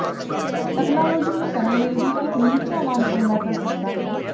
technology ਨੂੰ ਕਰਨ ਲਈ ਵੀ ਇੱਕ ਨਿਹਚਾਵਾਨ ਪੰਗਾ ਕਰ ਸਕਦਾ ਹੈ